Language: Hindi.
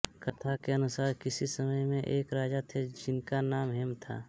कथा के अनुसार किसी समय में एक राजा थे जिनका नाम हेम था